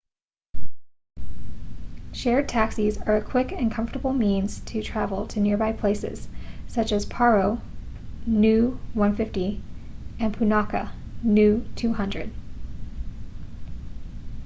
shared taxis are a quick and comfortable means to travel to nearby places such as paro nu 150 and punakha nu 200